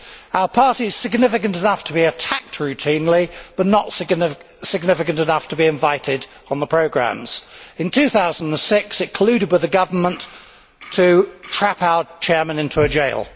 Our party is significant enough to be attacked routinely, but not significant enough to be invited on the programmes. In 2006 it colluded with the government to trap our chairman into a jail.